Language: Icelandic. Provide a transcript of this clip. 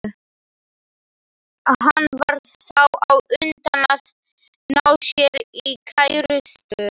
Hann varð þá á undan að ná sér í kærustu.